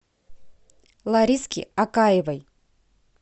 лариски акаевой